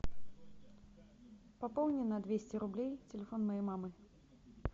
пополни на двести рублей телефон моей мамы